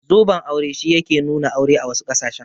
Zoben aure shi yake nuna aure a wasu ƙasashen.